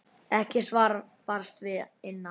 Ekkert svar barst að innan.